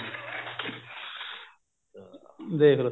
ਦੇਖਲੋ